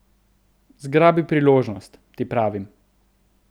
Zgrabi priložnost, ti pravim.